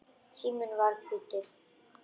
Síminn var hvítur.